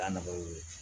Da nɔgɔya i be